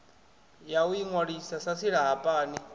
ya u inwalisa sa silahapani